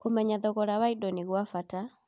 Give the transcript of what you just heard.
Kũmenya thogora wa indo nĩ gwa bata.